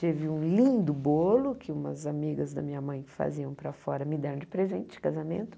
Tive um lindo bolo que umas amigas da minha mãe que faziam para fora me deram de presente de casamento.